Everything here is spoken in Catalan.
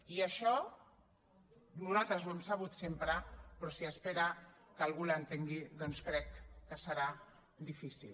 i això nosaltres ho hem sabut sempre però si espera que algú l’entengui doncs crec que serà difícil